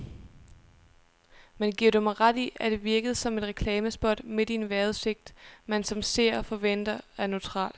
Men giver du mig ret i, at det virkede som et reklamespot midt i en vejrudsigt, man som seer forventer er neutral.